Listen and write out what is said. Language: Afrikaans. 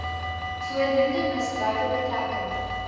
voornoemde misdrywe betrekking